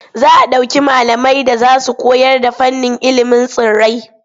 Za a ɗauki malamai da za su koyarda fannin ilimin tsirrai.